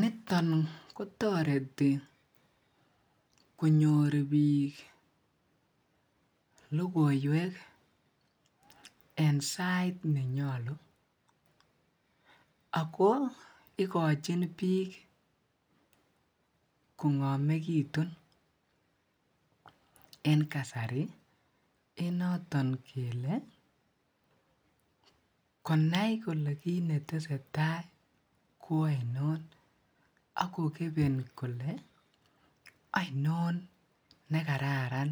niton kotoreti konyoor biik logoiweek en sait nenyolu ago igochin biik kongomegitun en kasari en noton kele konai kole kiit netesetai koainoon ak kogebeen kole ainoon negararan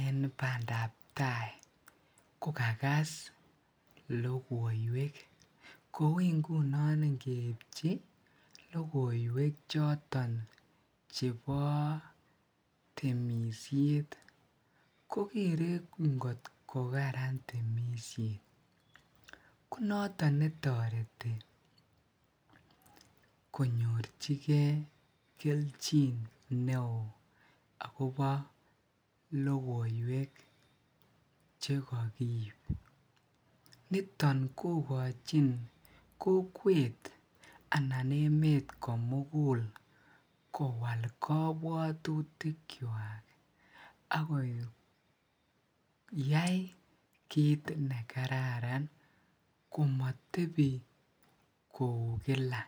en bandaab tai ko kagas logoiweek, kouu ngunon ngeibchi logoiweek choton chebo temisyeet kogere ngot kogararan temisyeet, konoton netoreti konyorchigee kelchin neooo agobo loigoiweek chegomiyuu, niton kogochin kokwet anan emet komugul kowaal kobwotutik chwaak ak koyaai kiit negararan komotebi kouu kila.